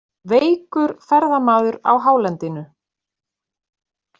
Veikur ferðamaður á hálendinu